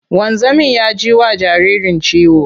Wanzamin ya ji wa jaririn ciwo.